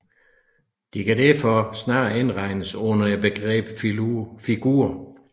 De kan derfor snarere indregnes under begrebet figur